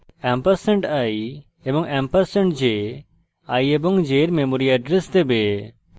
ampersand i এবং ampersand j i এবং j এর memory এড্রেস দেবে